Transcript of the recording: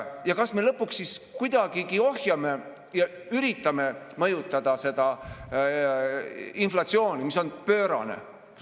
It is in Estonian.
Ja kas me lõpuks kuidagi ohjame ja üritame mõjutada seda inflatsiooni, mis on pöörane?